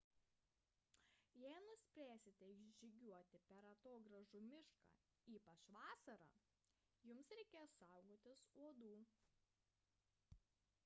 jei nuspręsite žygiuoti per atogrąžų mišką ypač vasarą jums reikės saugotis uodų